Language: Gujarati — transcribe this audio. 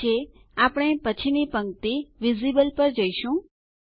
ઠીક છે આપણે પછીની પંક્તિ વિઝિબલ પર જઈશું